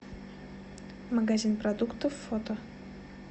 магазин продуктов фото